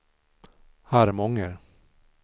Harmånger